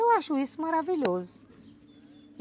Eu acho isso maravilhoso.